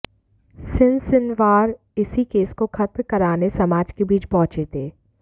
सिनसिनवार इसी केस को खत्म कराने समाज के बीच पहुंचे थे